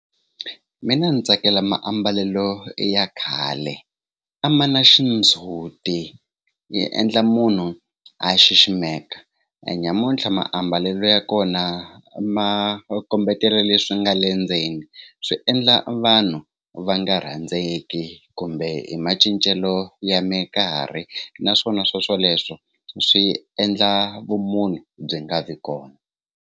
Mina ni tsakela mambalelo ya khale a ma na xindzuti yi endla munhu a ya xiximeka nyamuntlha maambalelo ya kona ma kombetela leswi nga le ndzeni swi endla vanhu va nga rhandzeki kumbe hi macincelo ya mikarhi naswona swoswoleswo swi endla vumunhu byi nga vi kona.